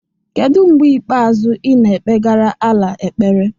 kedu mgbe ikpeazụ ị na-ekpegara Allah ekpere